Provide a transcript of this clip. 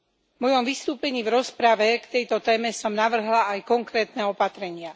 V mojom vystúpení v rozprave k tejto téme som navrhla aj konkrétne opatrenia.